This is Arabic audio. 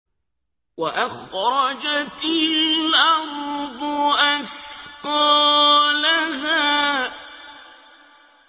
وَأَخْرَجَتِ الْأَرْضُ أَثْقَالَهَا